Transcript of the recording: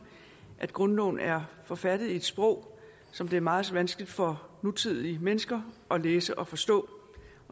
at grundloven er forfattet i et sprog som det er meget vanskeligt for nutidige mennesker at læse og forstå